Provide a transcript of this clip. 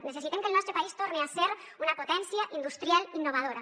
necessitem que el nostre país torne a ser una potència industrial innovadora